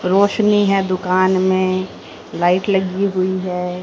रोशनी है दुकान में लाइट लगी हुई है।